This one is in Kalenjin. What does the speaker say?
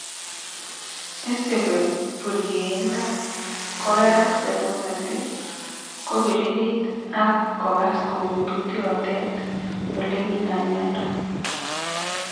Isupi purkeindo, Kogerak serunet ii, kopiririt ag kogas koutut yoten ele kinam mindo.